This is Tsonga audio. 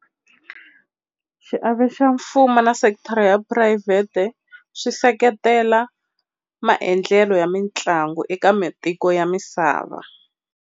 Xiave xa mfumo na sekithara ya phurayivhete swi seketela maendlelo ya mitlangu eka matiko ya misava.